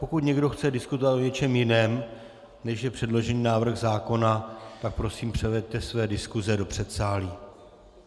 Pokud někdo chce diskutovat o něčem jiném, než je předložený návrh zákona, tak prosím převeďte své diskuse do předsálí.